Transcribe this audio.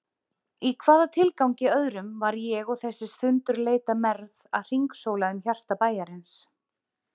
Í hvaða tilgangi öðrum var ég og þessi sundurleita mergð að hringsóla um hjarta bæjarins?